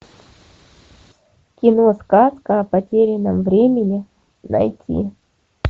кино сказка о потерянном времени найти